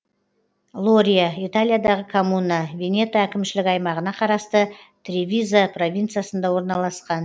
лория италиядағы коммуна венето әкімшілік аймағына қарасты тревизо провинциясында орналасқан